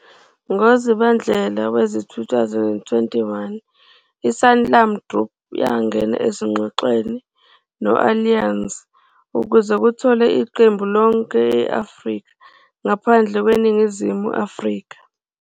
NgoZibandlela wezi-2021, i-Sanlam Group yangena ezingxoxweni no-Allianz ukuze kutholwe iqembu lonke e-Afrika ngaphandle kweNingizimu Afrika.